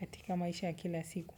katika maisha ya kila siku.